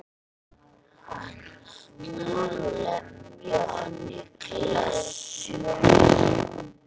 Hann ætlaði að lemja hann í klessu.